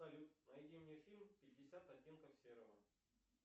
салют найди мне фильм пятьдесят оттенков серого